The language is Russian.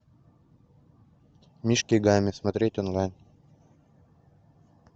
мишки гамми смотреть онлайн